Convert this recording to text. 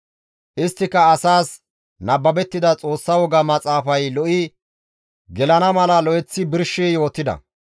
Isttika asaas nababettida Xoossa woga maxaafay lo7i gelana mala lo7eththi birshi yootida.